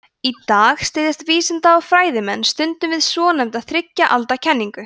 í dag styðjast vísinda og fræðimenn stundum við svonefnda þriggja alda kenningu